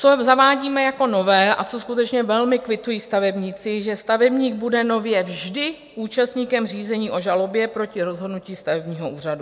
Co zavádíme jako nové a co skutečně velmi kvitují stavebníci, že stavebník bude nově vždy účastníkem řízení o žalobě proti rozhodnutí stavebního úřadu.